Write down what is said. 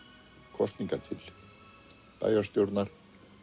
kosningar til bæjarstjórnar